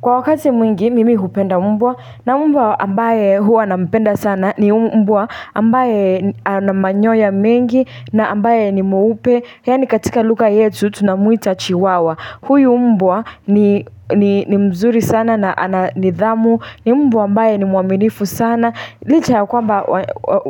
Kwa wakati mwingi mimi hupenda mbwa na mbwa ambaye huwa na mpenda sana ni mbwa ambaye n anamanyoya mengi na ambaye ni mweupe. Yani katika luka yetu tunamuita chiwawa. Huyu mmbwa ni ni mzuri sana na ana nidhamu. Ni mmbwa ambaye ni muaminifu sana. Licha ya kwamba we